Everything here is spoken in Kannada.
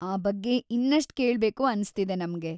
ಆ ಬಗ್ಗೆ ಇನ್ನಷ್ಟ್ ಕೇಳ್ಬೇಕು ಅನ್ಸ್ತಿದೆ ನಮ್ಗೆ.